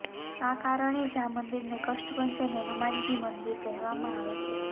આ કારણે જ આ મંદિરને કષ્ટભંજન હનુમાનજી મંદિર કહેવામાં આવે છે